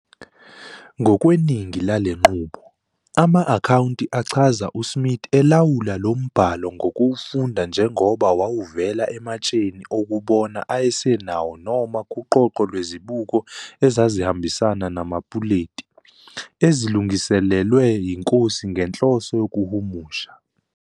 Ngokweningi lale nqubo, ama-akhawunti achaza uSmith elawula lo mbhalo ngokuwufunda njengoba wawuvela ematsheni okubona ayesenawo noma kuqoqo lwezibuko ezazihambisana namapuleti, ezilungiselelwe yiNkosi ngenhloso yokuhumusha.